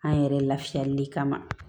An yɛrɛ lafiyali kama